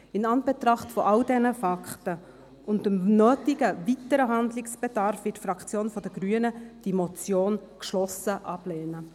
In Anbetracht all dieser Fakten und dem nötigen weiteren Handlungsbedarf wird die Fraktion der Grünen diese Motion geschlossen ablehnen.